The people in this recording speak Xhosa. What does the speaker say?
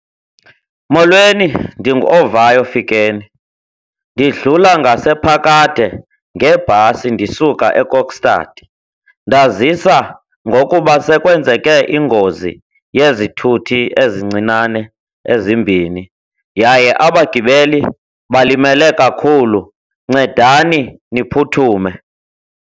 Molweni, ndinguOvayo Fikeni. Ndidlula ngasePhakade ngebhasi ndisuka eKokstad, ndazisa ngokuba sekwenzeke ingozi yezithuthi ezincinane ezimbini yaye abagibeli balimele kakhulu. Ncedani niphuthume.